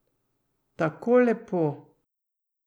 Tako lepo.